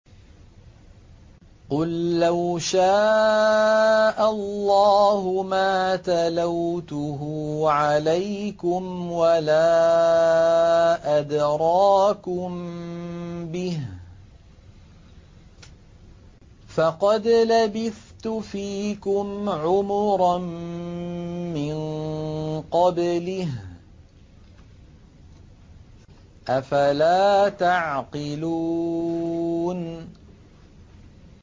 قُل لَّوْ شَاءَ اللَّهُ مَا تَلَوْتُهُ عَلَيْكُمْ وَلَا أَدْرَاكُم بِهِ ۖ فَقَدْ لَبِثْتُ فِيكُمْ عُمُرًا مِّن قَبْلِهِ ۚ أَفَلَا تَعْقِلُونَ